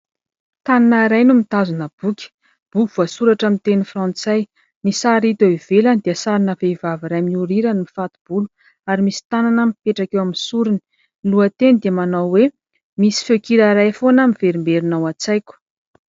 Tanana iray no mitazona boky, boky voasoratra amin'ny teny frantsay, ny sary hita eo ivelany dia sarina vehivavy iray mihorirana mifato-bolo ary misy tanana mipetraka eo amin'ny sorony, ny lohateny dia manao hoe :" Misy feon-kira iray foana miverimberina ao an-tsaiko ".